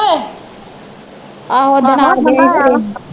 ਆਹੋ ਓਦਣ ਆਗਿਆ ਹੀ ਫਿਰ ਇਹ